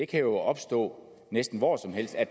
kan opstå næsten hvor som helst at